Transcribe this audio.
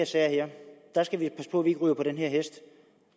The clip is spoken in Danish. sager skal vi passe på vi ikke ryger på den hest